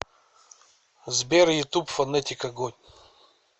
сбер ютуб фонетик огонь